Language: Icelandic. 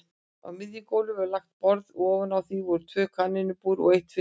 Á miðju gólfi var langt borð og ofan á því tvö kanínubúr og eitt fiskabúr.